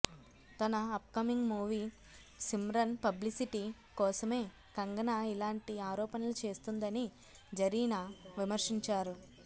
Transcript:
తన upcoming movie Simran publicity కోసమే కంగనా ఇలాంటి ఆరోపణలు చేస్తోందని జరీనా విమర్శించారు